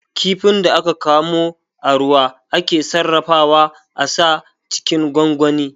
Kifin da aka kamo a ruwa ake sarrafawa a sa cikin gwangwani